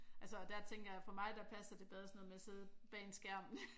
Altså og der tænker jeg for mig der passer det bedre sådan noget med at sidde bag en skærm